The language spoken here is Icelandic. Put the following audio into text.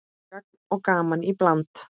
Gagn og gaman í bland.